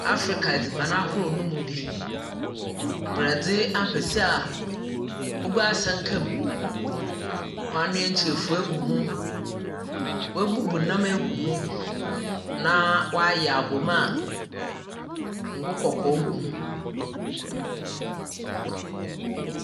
Africa edziban ahorow no mu bi; borɔdze ampesi a ɔgu asankam, wɔanoa nkyerefua egu ho, woebubu nnam egu ho, na wɔayɛ abom a ngo kɔkɔɔ gu ho a .